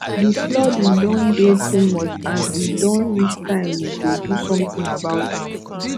the flooding don dey too much and e don reach time we go do something about am